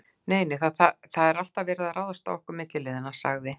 Nei, nei, það er alltaf verið að ráðast á okkur milliliðina sagði